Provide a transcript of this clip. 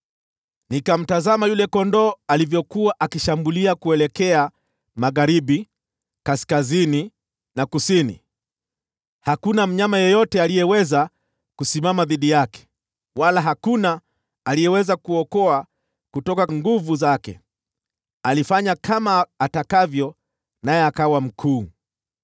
Nikamtazama yule kondoo dume alivyokuwa akishambulia kuelekea magharibi, kaskazini na kusini. Hakuna mnyama yeyote aliyeweza kusimama dhidi yake, wala hakuna aliyeweza kuokoa kutoka nguvu zake. Alifanya kama atakavyo, naye akawa mkuu.